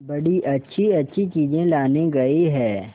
बड़ी अच्छीअच्छी चीजें लाने गई है